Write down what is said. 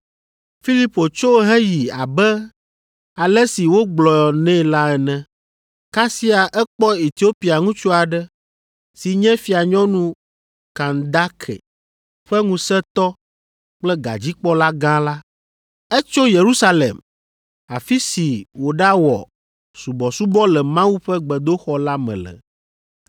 Filipo tso heyi abe ale si wogblɔ nɛ la ene; eye kasia ekpɔ Etiopia ŋutsu aɖe, si nye fianyɔnu Kandake ƒe ŋusẽtɔ kple gadzikpɔla gã la. Etso Yerusalem, afi si wòɖawɔ subɔsubɔ le Mawu ƒe gbedoxɔ la me le,